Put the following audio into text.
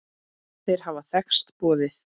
Þeir hafa þekkst boðið.